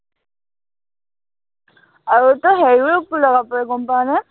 আৰু তই হেৰিও লগাব পাৰ, গম পাৱনে?